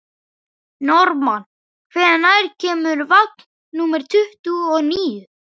Normann, hvenær kemur vagn númer tuttugu og níu?